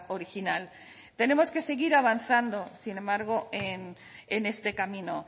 original tenemos que seguir avanzando sin embargo en este camino